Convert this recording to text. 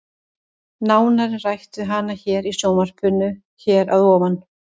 Nánar er rætt við hana hér í sjónvarpinu hér að ofan.